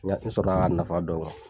Nka n sɔrɔ la k'a nafa dɔn